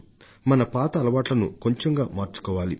మన పాత అలవాట్లను కొంచెంగా మార్చుకోవాలి